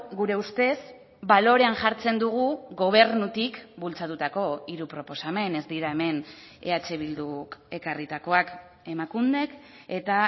gure ustez balorean jartzen dugu gobernutik bultzatutako hiru proposamen ez dira hemen eh bilduk ekarritakoak emakundek eta